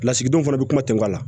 Lasigidenw fana bɛ kuma tɛgana